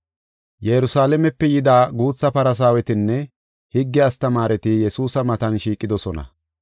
Yerusalaamepe yida guutha Farsaawetinne higge astamaareti Yesuusa matan shiiqidosona.